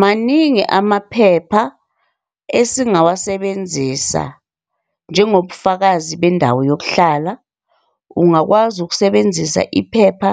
Maningi amaphepha esingawasebenzisa njengobufakazi bendawo yokuhlala. Ungakwazi ukusebenzisa iphepha